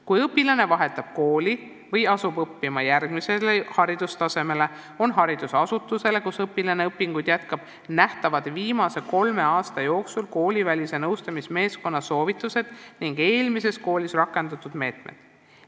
Kui õpilane vahetab kooli või asub õppima järgmisel haridustasemel, on koolile, kus õpilane õpinguid jätkab, viimase kolme aasta jooksul nähtavad koolivälise nõustamismeeskonna soovitused ning eelmises koolis rakendatud meetmed.